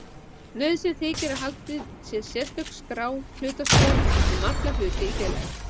Nauðsynlegt þykir að haldin sé sérstök skrá, hlutaskrá, um alla hluti í félagi.